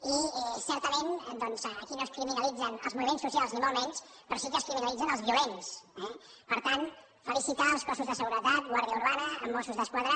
i certament doncs aquí no es criminalitzen els moviments socials ni molt menys però sí que es criminalitzen els violents eh per tant felicitar els cossos de seguretat guàrdia urbana mossos d’esquadra